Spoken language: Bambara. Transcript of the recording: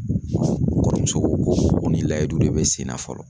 N kɔrɔmuso ko ko nin layiyidu de bɛ sen na fɔlɔ.